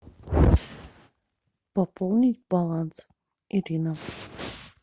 пополнить баланс ирина